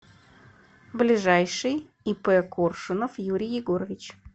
ближайший ип коршунов юрий егорович